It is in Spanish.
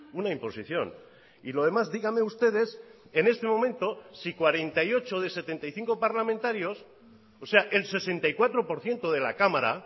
una imposición y lo demás dígame ustedes en este momento si cuarenta y ocho de setenta y cinco parlamentarios o sea el sesenta y cuatro por ciento de la cámara